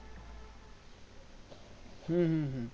হুম হুম হুম